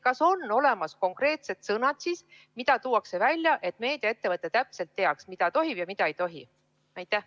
Kas on välja toodud konkreetsed sõnad, et meediaettevõte täpselt teaks, mida tohib ja mida ei tohi kasutada?